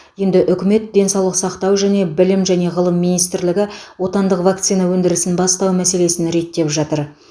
енді үкімет денсаулық сақтау және білім және ғылым министрлігі отандық вакцина өндірісін бастау мәселесін реттеп жатыр